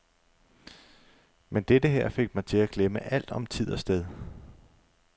Men dette her fik mig til at glemme alt om tid og sted.